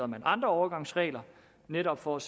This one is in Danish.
man andre overgangsregler netop for at